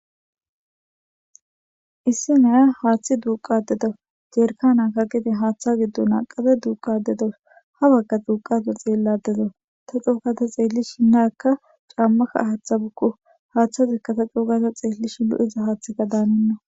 Issi naya haaththi duuqadedo jeerkanakka gide haaththa giddu naaqade duuqadedos ha wagga duuqado xeelladedo ta cougata xeelli shinnaekka caammaka haaththa bukku haaththasekka ta cougaza xeellishi lu'iza haaththika daaninna.